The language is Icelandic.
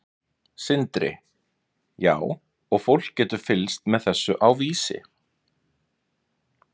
Sindri: Já og fólk getur fylgst með þessu á Vísi?